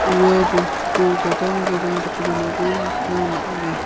ua bostuko gadang gadang dake donako nikna man·enga.